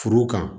Furu kan